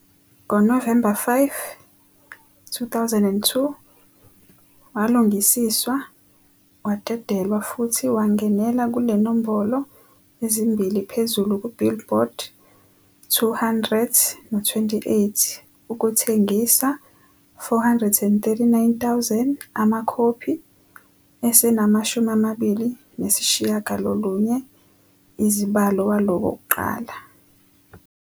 Ngo-November 5, 2002, walungisiswa wadedelwa futhi wangenela kule nombolo ezimbili phezu Billboard 200.28 ukuthengisa 439,000 amakhophi e semana.29 izibalo walo wokuqala